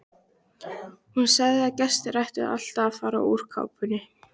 Hún sagði að gestir ættu alltaf að fara úr kápunni.